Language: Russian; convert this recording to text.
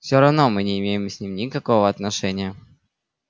все равно мы не имеем с ним никакого отношения